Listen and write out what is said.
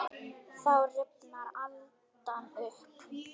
Þá rifnar aldan upp.